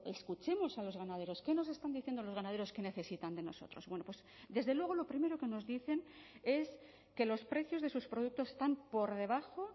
escuchemos a los ganaderos qué nos están diciendo los ganaderos que necesitan de nosotros bueno pues desde luego lo primero que nos dicen es que los precios de sus productos están por debajo